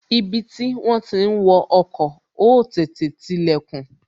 Ibi tí wón ti ń wo ọkọ̀, ó tètè tilè kùn